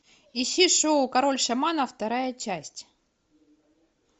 ищи шоу король шаманов вторая часть